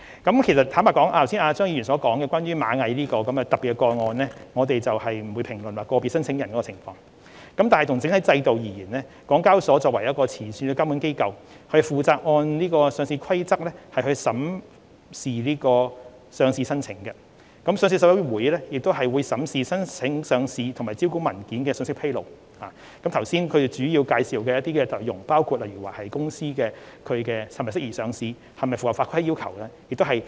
關於張議員剛才提到螞蟻集團這宗特別的個案，我們不會評論個別申請人的情況，但就整體制度而言，港交所作為前線監管機構，負責按《上市規則》審視上市申請，上市委員會亦會審視上市申請和招股文件的信息披露，包括剛才所述的申請人是否適合上市和是否符合合規要求等。